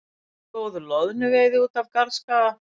Góð loðnuveiði út af Garðskaga